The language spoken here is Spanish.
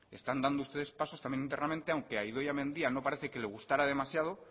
están dando ustedes pasos también internamente aunque a idoia mendia no parece que le gustara demasiado